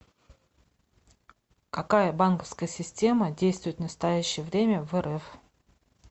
какая банковская система действует в настоящее время в рф